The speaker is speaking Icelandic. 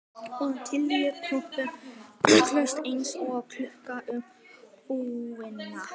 Og litli kroppurinn skaust eins og kúla um alla íbúðina.